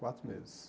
Quatro meses.